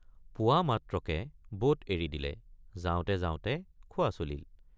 পোৱা মাত্ৰকে বোট এৰি দিলে যাওঁতে যাওঁতে খোৱা চলিল।